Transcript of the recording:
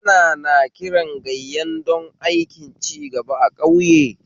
Ana nakiran gayyan don aikin cigaba a ƙauye